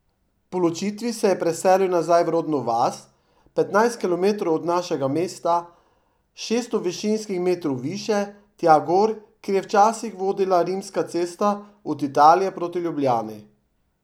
Po ločitvi se je preselil nazaj v rodno vas, petnajst kilometrov od našega mesta, šeststo višinskih metrov više, tja gor, kjer je včasih vodila rimska cesta od Italije proti Ljubljani.